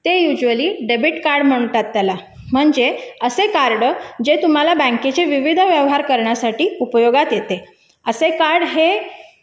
ते युजवली debit card म्हणतात त्याला बँकेचे विविध व्यवहार करायला उपयोगात येते असे कार्ड हे